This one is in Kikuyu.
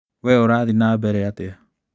Wee ũrathiĩ na mbere atĩa?